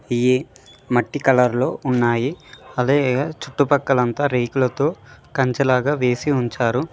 ఇయి మట్టి కలర్ లో ఉన్నాయి అదే చుట్టు పక్కల అంతా రేకులతో కంచే లాగా వేసి ఉంచారు.